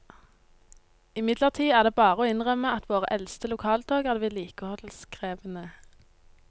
Imidlertid er det bare å innrømme at våre eldste lokaltog er vedlikeholdskrevende.